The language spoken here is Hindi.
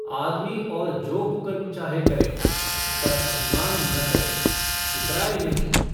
आदमी और जो कुकर्म चाहे करे पर अभिमान न करे इतराये नहीं।